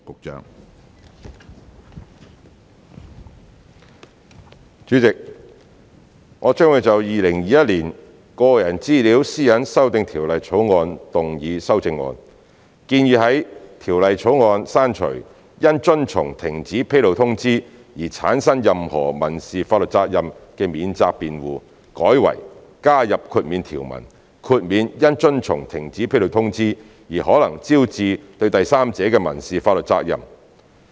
主席，我將會就《2021年個人資料條例草案》動議修正案，建議在《條例草案》刪除因遵從停止披露通知而產生任何民事法律責任的免責辯護，改為加入豁免條文，豁免因遵從停止披露通知而可能招致對第三者的民事法律責任。